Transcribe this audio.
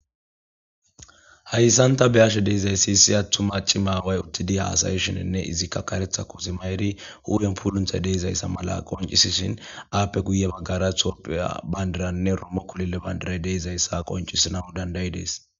hayssan ta beyashe deeizayssi issi attu maaci maaway uttidi haasaye shininne izikka karetha ko zimayeri hu7en pulunthay deizayssa mala qoncisishin aappe guye baggara topha bandiranne romo kulile bandiray deizayssa qoncisina dandayi dees